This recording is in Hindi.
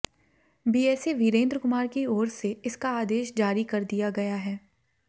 बीएसए वीरेन्द्र कुमार की ओर से इसका आदेश जारी कर दिया गया है